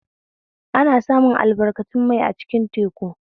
Ana samun albarkatun mai a cikin teku